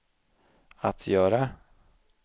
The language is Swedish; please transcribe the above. att göra